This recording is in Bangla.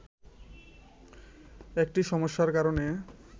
একটি সমস্যার কারণে